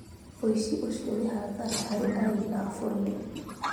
ũici ũcio nĩ hathara harĩ arĩmi a bũrũri